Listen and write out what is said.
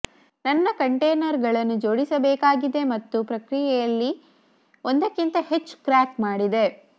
ನನ್ನ ಕಂಟೇನರ್ಗಳನ್ನು ಜೋಡಿಸಬೇಕಾಗಿದೆ ಮತ್ತು ಪ್ರಕ್ರಿಯೆಯಲ್ಲಿ ಒಂದಕ್ಕಿಂತ ಹೆಚ್ಚು ಕ್ರ್ಯಾಕ್ ಮಾಡಿದೆ